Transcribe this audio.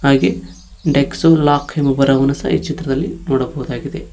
ಹಾಗೆ ಡೆಕ್ಸೋಲಾಕ್ ಎಂಬ ಬರಹವನ್ನು ಸಹ ಈ ಚಿತ್ರದಲ್ಲಿ ನೋಡಬಹುದಾಗಿದೆ.